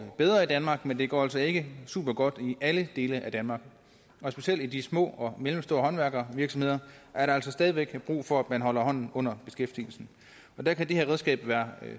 bedre i danmark men det går altså ikke supergodt i alle dele af danmark og specielt i de små og mellemstore håndværksvirksomheder er der altså stadig væk brug for at man holder hånden under beskæftigelsen der kan det her redskab være